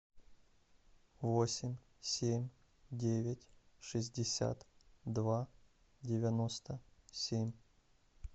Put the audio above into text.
восемь семь девять шестьдесят два девяносто семь